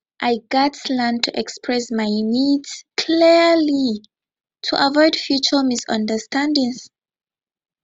i gats learn to express my needs clearly to avoid future misunderstandings